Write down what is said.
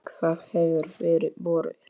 Hvað hefur fyrir borið?